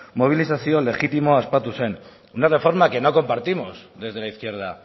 mobilizazio legitimoa ospatu zen una reforma que no compartimos desde la izquierda